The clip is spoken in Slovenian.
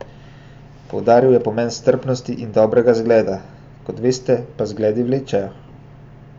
Poudaril je pomen strpnosti in dobrega zgleda: 'Kot veste pa zgledi vlečejo.